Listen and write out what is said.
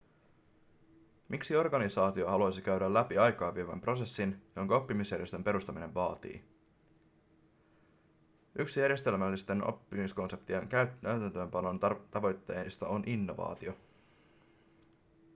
miksi organisaatio haluaisi käydä läpi aikaa vievän prosessin jonka oppimisjärjestön perustaminen vaatii yksi järjestelmällisten oppimiskonseptien käytäntöönpanon tavoitteista on innovaatio